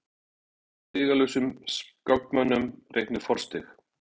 Stigalausum skákmönnum reiknuð forstig.